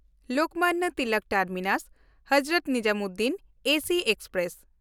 Lokmanya Tilak ᱴᱟᱨᱢᱤᱱᱟᱥ–ᱦᱚᱡᱨᱚᱛ Nizamuddin AC express